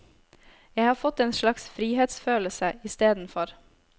Jeg har fått en slags frihetsfølelse istedenfor.